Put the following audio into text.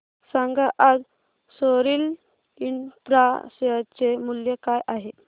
सांगा आज Soril infra share चे मूल्य काय आहे